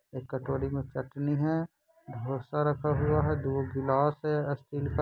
एक कटोरी मे चटनी है ढोंसा रखा हुआ है दो गिलास है स्टील का।